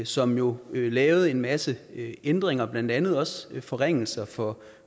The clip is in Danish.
som jo lavede en masse ændringer blandt andet også forringelser for